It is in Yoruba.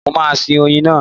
Mo máa sin oyin náà.